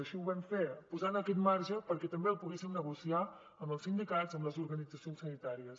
així ho vam fer posant aquest marge perquè també el poguéssim negociar amb els sindicats amb les organitzacions sanitàries